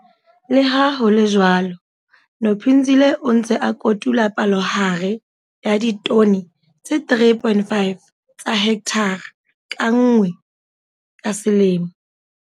Le ha ho le jwalo, Nophinzile o ntse a kotula palohare ya ditone tse 3,5 tsa hekthara ka nngwe ka selemo.